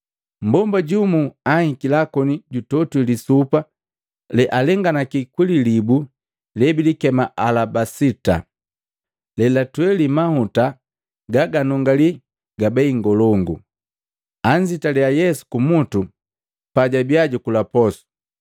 mmbomba jumu anhikila koni jutogwi lisupa lealenganisi kwi lilibu lebilikema alabasita lelatweli mahuta gaganungali gabei ngolongu, anzitila Yesu kumutu pajabiya jukula posu.